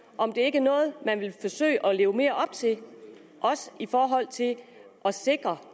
om det ikke er noget man vil forsøge at leve mere op til også i forhold til at sikre